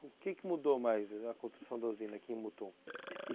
O que que mudou mais a construção da usina aqui em Mutum?